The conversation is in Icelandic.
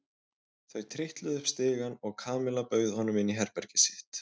Þau trítluðu upp stigann og Kamilla bauð honum inn í herbergið sitt.